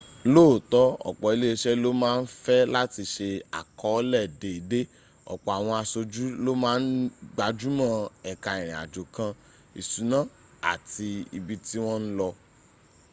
lóòótọ́ ọ̀pọ̀ iléeṣẹ́ ló ma ń fẹ́ láti se àkọọ́lẹ̀ déédé ọ̀pọ̀ àwọn aṣojú ló má ń gbájúmọ́ ẹka ìrìnàjò kan ìṣúná àti ibi tí wọ́n ń lọ